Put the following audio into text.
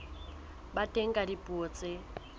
ba teng ka dipuo tse